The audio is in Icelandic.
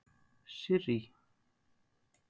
Sirrý